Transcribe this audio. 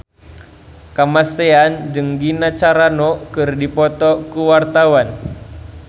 Kamasean jeung Gina Carano keur dipoto ku wartawan